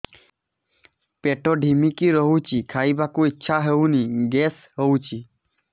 ପେଟ ଢିମିକି ରହୁଛି ଖାଇବାକୁ ଇଛା ହଉନି ଗ୍ୟାସ ହଉଚି